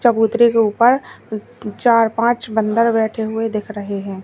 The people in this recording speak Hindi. चबूतरे के ऊपर चार पांच बंदर बैठे हुए दिख रहे हैं।